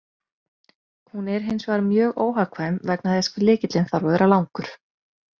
Hún er hins vegar mjög óhagkvæm vegna þess hve lykillinn þarf að vera langur.